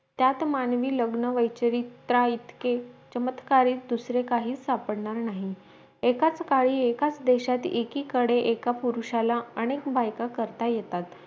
त्यात मानवी लग्न वैचारिकता इतके चमत्कारी दुसरे काही सापडणर् नाही एकाच काळी एकच देशात एकीकडे एका पुरुषाला अनेक बायका करता येतात